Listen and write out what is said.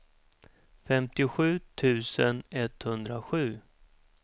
femtiosju tusen etthundrasju